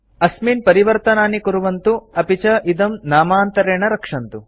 अस्मिन् परिवर्तनानि कुर्वन्तु अपि च इदं नामान्तरेण रक्षन्तु